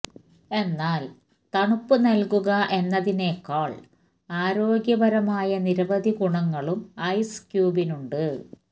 എന്നാല് തണുപ്പ് നല്കുക എന്നതിനേക്കാള് ആരോഗ്യപരമായ നിരവധി ഗുണങ്ങളും ഐസ് ക്യൂബ്സിനുണ്ട്